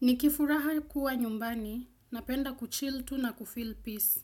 Nikifuraha kuwa nyumbani, napenda kuchill tu na kufeel peace.